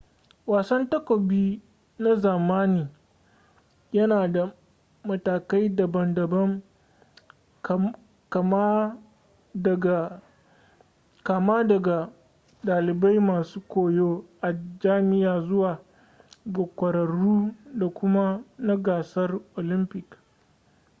wasan takobi na zamani ya na da matakai daban daban kama daga dalibai masu koyo a jami'a zuwa ga kwararru da kuma na gasar olympic